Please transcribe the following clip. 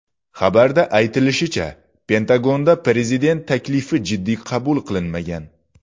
Xabarda aytilishicha, Pentagonda prezident taklifi jiddiy qabul qilinmagan.